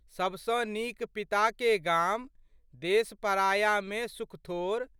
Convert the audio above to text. सबसँ नीक पिताके गाम, देश परायामे सुख थोर।